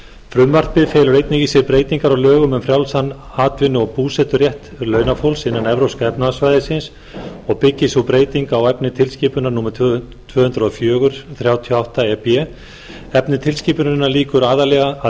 frumvarpið felur einnig í sér breytingar á lögum um frjálsan atvinnu og búseturétt launafólks innan evrópska efnahagssvæðisins og byggist sú breyting á efni tilskipunar númer tvö þúsund og fjögur þrjátíu og átta e b efni tilskipunarinnar